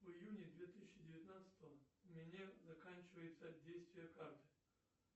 в июне две тысячи девятнадцатого у меня заканчивается действие карты